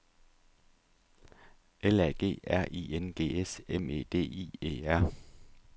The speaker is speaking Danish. L A G R I N G S M E D I E R